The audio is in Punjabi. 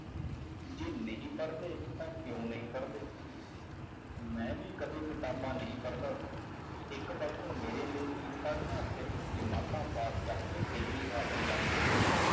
ਜੇ ਨਹੀਂ ਪੜ੍ਹਦੇ ਤਾਂ ਕਿਉਂ ਨਹੀਂ ਪੜ੍ਹਦੇ ਮੈਂ ਵੀ ਕਦੇ ਕਿਤਾਬਾਂ ਨਹੀਂ ਪੜ੍ਹਦਾ ਸੀ, ਇੱਕ ਵਕਤ ਮੇਰੇ ਲਈ ਵੀ ਪੜ੍ਹਨਾ ਸਿਰਫ਼ ਜਮਾਤਾਂ ਪਾਸ ਕਰਕੇ degree ਹਾਸਲ ਕਰਨਾ ਸੀ।